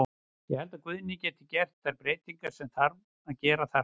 Ég held að Guðni geti gert þær breytingar sem þarf að gera þarna.